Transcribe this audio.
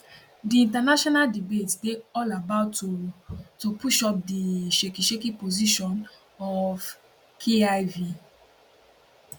di international debate dey all about to to push up di shakyshaky position of kyiv